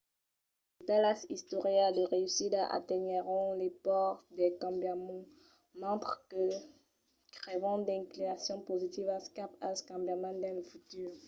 de talas istòrias de reüssida atenuèron las paurs del cambiament mentre que creavan d'inclinacions positivas cap al cambiament dins lo futur